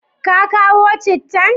Ka kawo cittan?